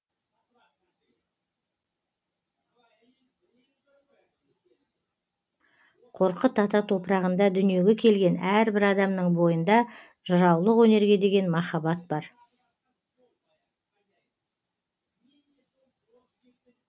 қорқыт ата топырағында дүниеге келген әрбір адамның бойында жыраулық өнерге деген махаббат бар